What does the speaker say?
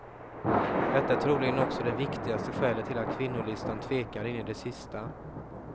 Detta är troligen också det viktigaste skälet till att kvinnolistan tvekar in i det sista.